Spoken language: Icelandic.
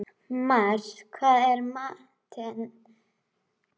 Marsa, hvað er í matinn á föstudaginn?